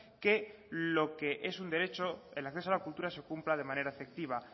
que lo que es un derecho el acceso a la cultura se cumpla de manera efectiva